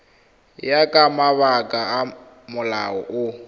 ya ka mabaka a molao